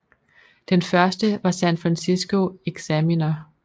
Den første var San Francisco Examiner